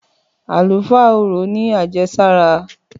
Àlùfáà orò ní àjẹsára.